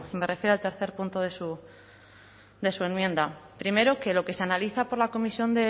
me refiero al tercer punto de su enmienda primero que lo que se analiza por la comisión